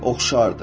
Oxşardır.